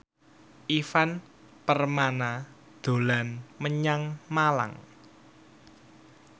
Ivan Permana dolan menyang Malang